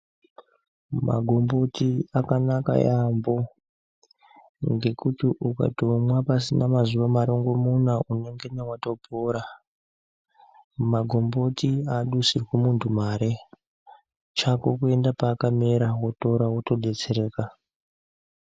Magomboti akanaka yambo ngekuti ukangomwa pasina mazuva marongo muna unenge watopona magomboti adusirwi muntu mare chako unengo enda pakamera wototora woto detsereka.